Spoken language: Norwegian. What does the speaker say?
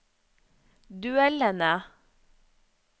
duellene